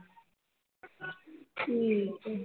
ਠੀਕ ਹੈ